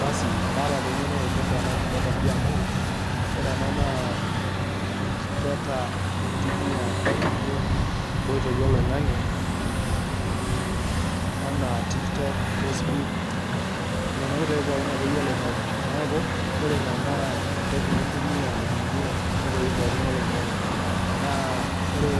Basi kaata taa eng'eno naipirta ena kipeta amu ore ena naa enkipeta nintumia ajing'ie ng'oitoi oloing'ang'e anaa tiktok, faceboook, nena oitoi pookin akeyie oloing'ang'e. Neeku ore ina naa entoki nitumia ajing'ie nkoitoi pookin oloing'ang'e naa ore